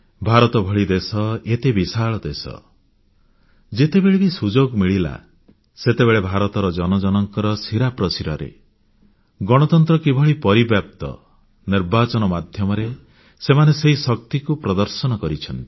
ଭାରତ ଭଳି ଦେଶ ଏତେ ବିଶାଳ ଦେଶ ଯେତେବେଳେ ବି ସୁଯୋଗ ମିଳିଲା ସେତେବେଳେ ଭାରତର ଜନ ଜନଙ୍କ ଶିରା ପ୍ରଶିରାରେ ଗଣତନ୍ତ୍ର କିଭଳି ପରିବ୍ୟାପ୍ତ ନିର୍ବାଚନ ମାଧ୍ୟମରେ ସେମାନେ ସେହି ଶକ୍ତିକୁ ପ୍ରଦର୍ଶନ କରିଛନ୍ତି